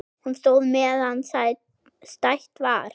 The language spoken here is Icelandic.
Hún stóð meðan stætt var.